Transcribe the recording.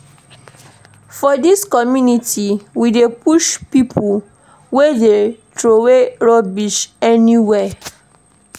For dis community, we dey punish pipo wey dey troway rubbish everywhere.